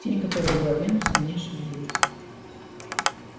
тень которая была венусом не шевелилась